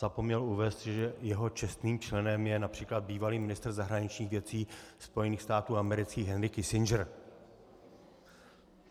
Zapomněl uvést, že jeho čestným členem je například bývalý ministr zahraničních věcí Spojených států amerických Henry Kissinger.